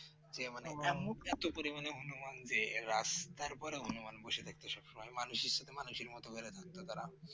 দিয়ে মানে পরিমাণে হনুমান যে রাস্তার উপরে হনুমান বসে থাকতো সবসময় মানুষের সাথে মানুষের মতো বেড়ায় থাকত তারা